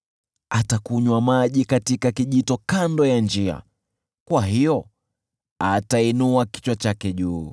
Atakunywa maji katika kijito kando ya njia, kwa hiyo atainua kichwa chake juu.